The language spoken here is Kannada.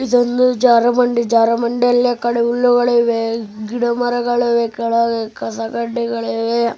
ಇದೊಂದು ಜಾರುಬಂಡಿ ಜಾರುಬಂಡಿಯಲ್ಲಿ ಹುಲ್ಲುಗಳಿವೆ ಗಿಡ ಮರಗಳಿವೆ ಕೆಳಗ ಕಸ ಕಡ್ಡಿಗಳಿವೆ .